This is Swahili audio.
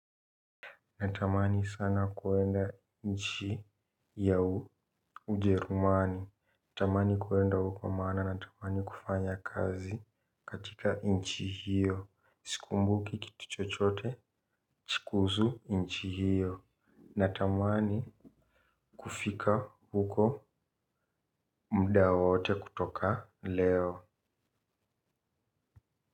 Natamani sana kwenda nchi ya Ujerumani. Natamani kwenda huko maana natamani kufanya kazi katika nchi hiyo. Sikumbuki kitu chochote kuhusu nchi hiyo. Natamani kufika huko muda wowote kutoka leo.